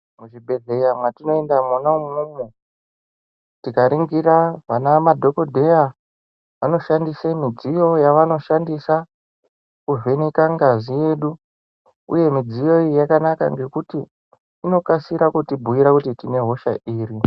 Muzvibhedhleya mwatinoenda mwona umwomwo, tikaringira vana madhokodheya, anoshandise midziyo yavanoshandisa, kuvheneka ngazi yedu uye midziyo iyi yakanaka ngekuti, inokasira kutibhuira kuti tine hosha iri.